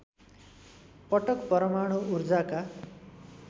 पटक परमाणु ऊर्जाका